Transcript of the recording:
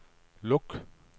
luk